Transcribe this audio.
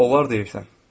Onlar deyirsən?